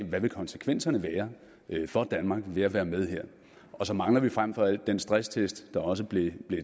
hvad konsekvenserne vil være for danmark ved at være med her og så mangler vi frem for alt den stresstest der også blev